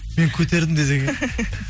мен көтердім десең иә